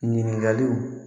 Ɲininkaliw